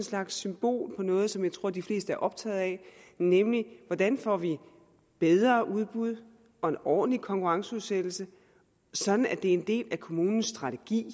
slags symbol på noget som jeg tror de fleste er optaget af nemlig hvordan får vi bedre udbud og en ordentlig konkurrenceudsættelse sådan at det er en del af kommunens strategi